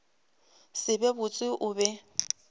se be botse o be